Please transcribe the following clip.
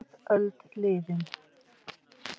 Hálf öld liðin